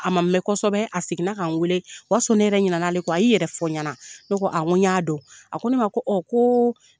A ma mɛn kosɛbɛ seginna ka n weele o y'a sɔrɔ ne yɛrɛ ɲina n'ale kɔ, a y'i yɛrɛ fɔ n ɲɛna, ne ko n ko ɲa dɔn, a ko ne ko koo